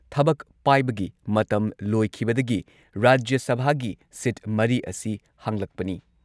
ꯊꯕꯛ ꯄꯥꯏꯕꯒꯤ ꯃꯇꯝ ꯂꯣꯏꯈꯤꯕꯗꯒꯤ ꯔꯥꯖ꯭ꯌ ꯁꯚꯥꯒꯤ ꯁꯤꯠ ꯃꯔꯤ ꯑꯁꯤ ꯍꯥꯡꯂꯛꯄꯅꯤ ꯫